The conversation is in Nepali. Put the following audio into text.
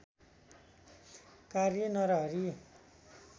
कार्य नरहरि